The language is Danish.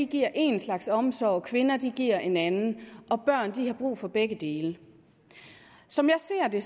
giver én slags omsorg kvinder giver en anden og børn har brug for begge dele som jeg ser det